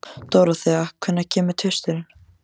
Dorothea, hvenær kemur tvisturinn?